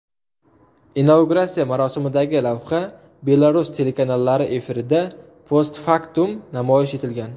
Inauguratsiya marosimidagi lavha Belarus telekanallari efirida postfaktum namoyish etilgan.